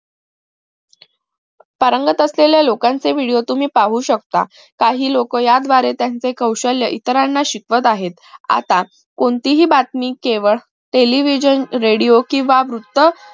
पारंगत असलेल्या लोकांचे video तुम्ही पाहू शकता काही लोक याद्वारे त्याचे कौशल्य इतरांना शिकवत आहेत आता कोणतीही बातमी केवळ television radio केंव्हा वृत्त